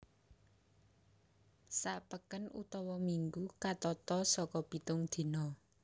Sa peken utawa minggu katata saka pitung dina